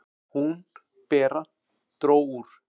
"""Hún, Bera, dró úr."""